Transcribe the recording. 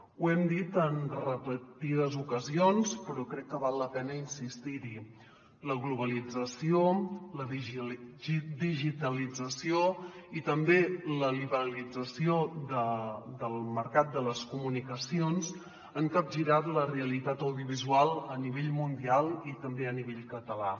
ho hem dit en repetides ocasions però crec que val la pena insistir hi la globalització la digitalització i també la liberalització del mercat de les comunicacions han capgirat la realitat audiovisual a nivell mundial i també a nivell català